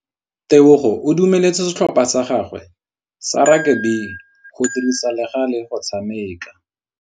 Tebogô o dumeletse setlhopha sa gagwe sa rakabi go dirisa le galê go tshameka.